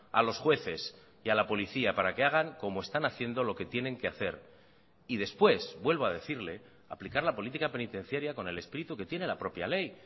a los jueces y a la policía para que hagan como están haciendo lo que tienen que hacer y después vuelvo a decirle aplicar la política penitenciaria con el espíritu que tiene la propia ley